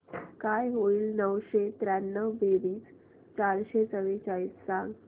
काय होईल नऊशे त्र्याण्णव बेरीज चारशे चव्वेचाळीस सांग